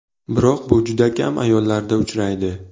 Biroq bu juda kam ayollarda uchraydi.